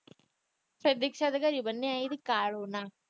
ਫਿਰ ਦਿਕਸਾ ਦੇ ਘਰੇ ਬੰਨ ਆਉਣਗੇ ਕਾਲੂ ਨਾਲ।